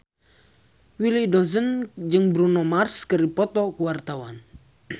Willy Dozan jeung Bruno Mars keur dipoto ku wartawan